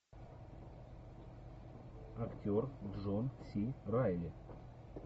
актер джон си райли